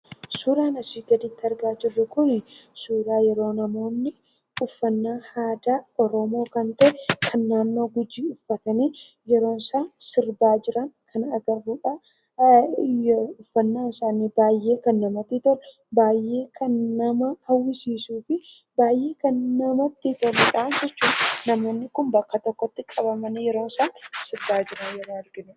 Suuraan asii gaditti argaa jirru kun suuraa yeroo namoonni uffannaa aadaa Oromoo kan ta'e kan naannoo Gujii uffatanii yeroo isaan sirbaa jiran kan agarrudha. Uffannaan isaanii baay'ee kan namatti tolu, baay'ee kan nama hawwisiisuu fi baay'ee kan namatti toludhaa jechuudha. Namoonni kun bakka tokkotti qabamanii yeroo isaan sirbaa jiran argina.